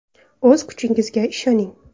O‘z kuchingizga ishoning!